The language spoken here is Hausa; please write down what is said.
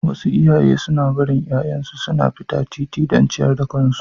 Wasu iyaye suna barin ’ya’yansu suna fita titimu don ciyar da kansu.